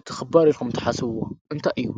እቲ ክባር ኢልኩም እትሓስብዎ እንታይ እዩ።